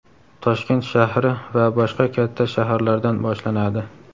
Toshkent shahri va boshqa katta shaharlardan boshlanadi.